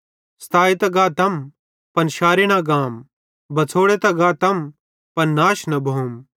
सताए त गातम पन शारे न गाम बछ़ोड़े त गातम पन नाश न भोम